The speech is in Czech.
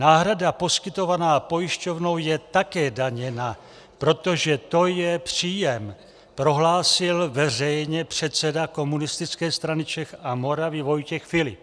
Náhrada poskytovaná pojišťovnou je také daněna, protože to je příjem, prohlásil veřejně předseda Komunistické strany Čech a Moravy Vojtěch Filip.